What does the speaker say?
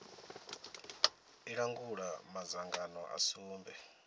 i langula madzangano a sumbe